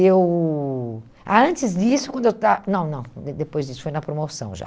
Eu... Ah, antes disso, quando eu estava... Não, não, de depois disso, foi na promoção já.